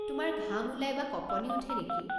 তোমাৰ ঘাম ওলায় বা কঁপনি উঠে নেকি?